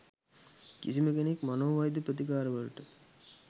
කිසිම කෙනෙක් මනෝවෛද්‍ය ප්‍රතිකාර වලට